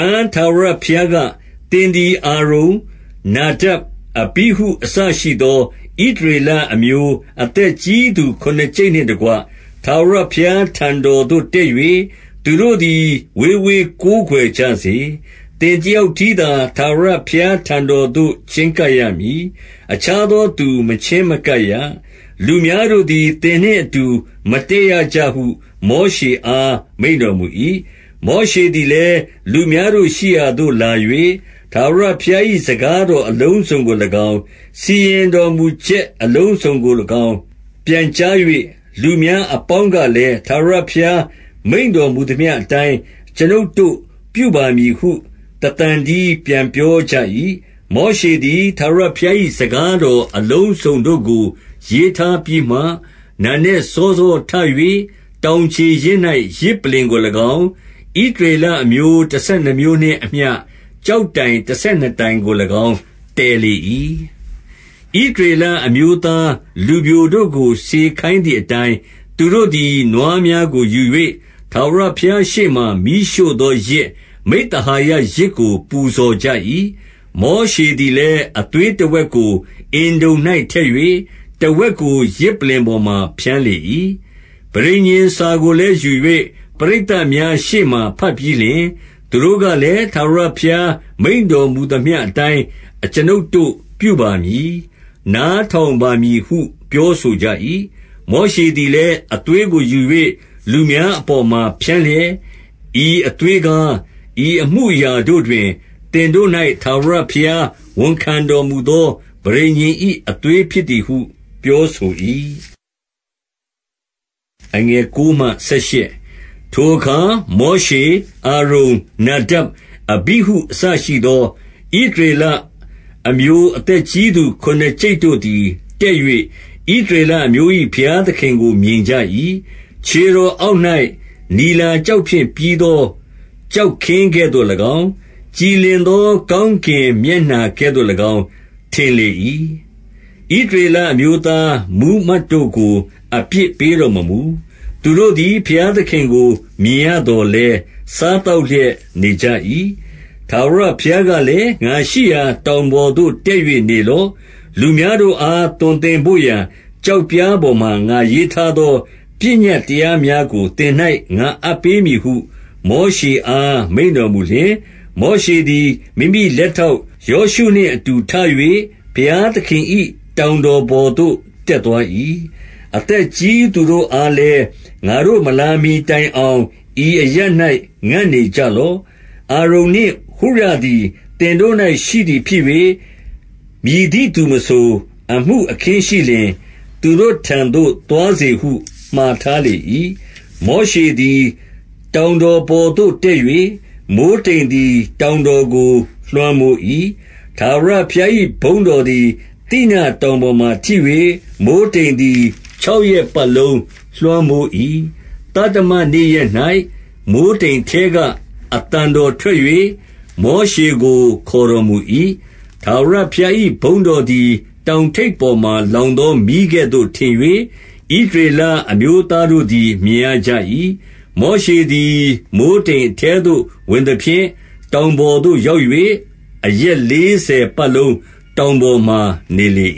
န် ထာဝရဘုရားက၊ သင်သည် အာရုန်၊ နာဒပ်၊ အဘိဟု အစရှိသော ဣသရေလအမျိုး အသက်ကြီးသူ ခုနစ်ကျိပ်နှင့်တကွ၊ ထာဝရဘုရားထံတော်သို့ တက်၍၊ သူတို့သည် ဝေးဝေးကိုးကွယ်ကြစေ။ 2 သင်တယောက်တည်းသာ ထာဝရဘုရားထံတော်သို့ ချဉ်းကပ်ရမည်။ အခြားသောသူ မချဉ်းမကပ်ရ။ လူများတို့သည် သင်နှင့်အတူ မတက်ရကြဟု မောရှေအား မိန့်တော်မူ၏။ 3 မောရှေသည်လည်း လူများတို့ရှိရာသို့လာ၍၊ ထာဝရဘုရား၏ စကားတော်အလုံးစုံကို၎င်း၊ စီရင်တော်မူချက်အလုံးစုံကို၎င်း ပြန်ကြား၍၊ လူများအပေါင်းကလည်း၊ ထာဝရဘုရားမိန့်တော်မူသမျှအတိုင်း အကျွန်ုပ်တို့ ပြုပါမည်ဟု တသံတည်းပြန်ပြောကြ၏။ 4 မောရှေသည် ထာဝရဘုရား၏ စကားတော်အလုံးစုံတို့ကို ရေးထားပြီးမှ၊ နံနက်စောစောထ၍၊ တောင်ခြေရင်း၌ ယဇ်ပလ္လင်ကို၎င်း၊ ဣသရေလအမျိုး တဆယ်နှစ်မျိုးနှင့်အမျှ ကျောက်တိုင်တဆယ်နှစ်တိုင်ကို ၎င်း တည်လေ၏။ 5 ဣသရေလအမျိုးသား လူပျိုတို့ကို စေခိုင်းသည်အတိုင်း၊ သူတို့သည် နွားများကိုယူ၍ ထာဝရဘုရား ရှေ့မှာ မီးရှို့သောယဇ်၊ မိဿဟာယယဇ်ကို ပူဇော်ကြ၏။ 6 မောရှေသည်လည်း၊ အသွေးတဝက်ကို အင်တုံ၌ထည့်၍၊ တဝက်ကို ယဇ်ပလ္လင်ပေါ်မှာ ဖြန်းလေ၏။ 7 ပဋိညာဉ်စာကိုလည်း ယူ၍၊ ပရိသတ်များရှေ့မှာ ဘတ်ပြီးလျှင်၊ သူတို့ကလည်း၊ ထာဝရဘုရားမိန့်တော် မူသမျှအတိုင်း အကျွန်ုပ်တို့ပြုပါမည်၊ နားထောင်ပါမည်ဟု ပြောဆိုကြ၏။ 8 မောရှေသည်လည်း၊ အသွေးကို ယူ၍ လူများအပေါ်မှာ ဖြန်းလျက်၊ ဤအသွေးကား ဤအမှုအရာ တို့တွင် သင်တို့၌ ထာဝရဘုရားဝန်ခံတော်မူသော ပဋိညာဉ်၏အသွေးဖြစ်သည်ဟု ပြောဆို၏။ 9 ထိုအခါ မောရှေ၊ အာရုန်၊ နာဒပ်၊ အဘိဟု အစရှိသော ဣသရေလအမျိုး အသက်ကြီးသူ ခုနစ်ကျိပ်တို့ သည် တက်၍၊ 10 ဣသရေလအမျိုး၏ ဘုရားသခင်ကို မြင်ကြ၏။ ခြေတော်အောက်၌ နီလာကျောက်ဖြင့်ပြီးသော ကျောက်ခင်းကဲ့သို့၎င်း၊ ကြည်လင်သော ကောင်းကင်မျက်နှာကဲ့သို့၎င်း ထင်လေ၏။ 11 ဣသရေလအမျိုးသား မှူးမတ်တို့ကို အပြစ်ပေးတော်မမူ။ သူတို့သည် ဘုရားသခင်ကို မြင်ရသော် လည်း၊ စားသောက်လျက်နေကြ၏။ 12 ထာဝရဘုရားကလည်း၊ ငါရှိရာတောင်ပေါ်သို့ တက်၍နေလော့။ လူများတို့အား သွန်သင်ဘို့ရာ ကျောက်ပြားပေါ်မှာ ငါရေးထားသော ပညတ်တရားများကို သင်၌ ငါအပ်ပေးမည်ဟု မောရှေအား မိန့်တော်မူလျှင်၊ 13 မောရှေသည် မိမိလက်ထောက်ယောရှုနှင့် အတူထ၍ ဘုရားသခင်၏ တောင်တော်ပေါ်သို့ တက်သွား၏။ 14 အသက်ကြီးသူတို့အားလည်း၊ ငါတို့မလာမှီတိုင်အောင် ဤအရပ်၌ ငံ့နေကြလော့။ အာရုန်နှင့် ဟုရသည် သင်တို့၌ ရှိသည်ဖြစ်၍၊ မည်သည့်သူမဆို အမှုအခင်းရှိလျှင်၊ သူတို့ထံသို့ သွားစေဟု မှာထားလေ၏။ 15 မောရှေသည် တောင်တော်ပေါ်သို့တက်၍၊ မိုဃ်းတိမ်သည် တောင်တော်ကို လွှမ်းမိုး၏။ 16 ထာဝရဘုရား၏ ဘုန်းတော်သည် သိနာတောင်ပေါ်မှာထိ၍၊ မိုဃ်းတိမ်သည် ခြောက်ရက်ပတ်လုံး လွှမ်းမိုး၏။ သတ္တမနေ့ရက်၌ မိုဃ်းတိမ်အထဲက အသံတော်ထွက်၍၊ မောရှေကို ခေါ်တော်မူ၏။ 17 ထာဝရဘုရား၏ ဘုန်းတော်သည် တောင်ထိပ်ပေါ်မှာလောင်သော မီးကဲ့သို့ ထင်၍၊ ဣသရေလ အမျိုးသားတို့သည် မြင်ရကြ၏။ 18 မောရှေသည် မိုဃ်းတိမ်အထဲသို့ ဝင်သဖြင့် တောင်ပေါ်သို့ရောက်၍ အရက်လေးဆယ်ပတ်လုံး တောင်ပေါ်မှာ နေလေ